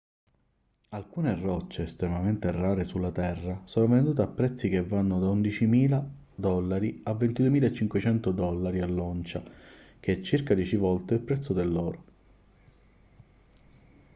alcune rocce estremamente rare sulla terra sono vendute a prezzi che vanno da 11.000 dollari a 22.500 dollari all'oncia che è circa dieci volte il prezzo dell'oro